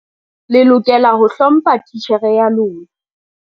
Le lokela ho hlompha titjhere ya lona.